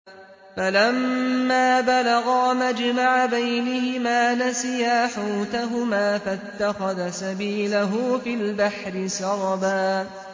فَلَمَّا بَلَغَا مَجْمَعَ بَيْنِهِمَا نَسِيَا حُوتَهُمَا فَاتَّخَذَ سَبِيلَهُ فِي الْبَحْرِ سَرَبًا